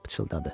pıçıldadı.